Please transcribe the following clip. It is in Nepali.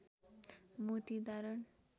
मोती धारण